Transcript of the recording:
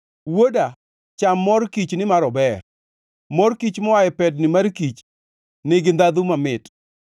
Wuoda, cham mor kich, nimar ober; mor kich moa e pedni mar kich nigi ndhandhu mamit.